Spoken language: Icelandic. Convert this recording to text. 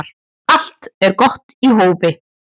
Allt er gott í hófi